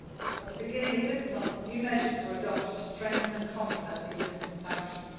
list. At the beginning of this month, new measures were adopted to strengthen and complement the existing sanctions.